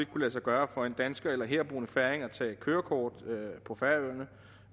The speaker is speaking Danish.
kunne lade sig gøre for en dansker eller herboende færing at tage kørekort på færøerne